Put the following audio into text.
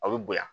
Aw bɛ bonya